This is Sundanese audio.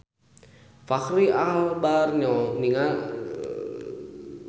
Fachri Albar olohok ningali Kristopher Reeve keur diwawancara